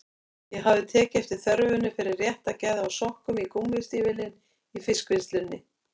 Ég hafði tekið eftir þörfinni fyrir rétta gerð af sokkum í gúmmístígvélin í fiskvinnslunni.